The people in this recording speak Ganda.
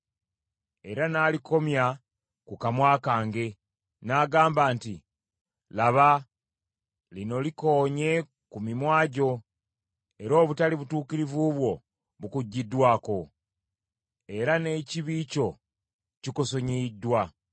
Era n’alikomya ku kamwa kange, n’agamba nti, “Laba, lino likoonye ku mimwa gyo, era obutali butuukirivu bwo bukuggyiddwako. Era n’ekibi kyo kikusonyiyiddwa.”